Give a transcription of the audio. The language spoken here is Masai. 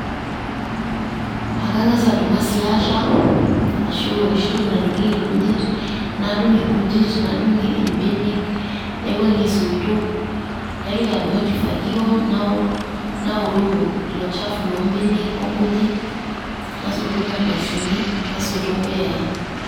Ekang'as adumu e slasher ,ashu enoshi toki nadung'ieki irkujit, nadung' inkujit, nadung' imbenek, naiwuang'ie isoitok. Naitoki adumu enkifagio nawor naworoo ilo chafu loo mbenek o nkujit. Nasotu nkardasini, nasotu impuyai.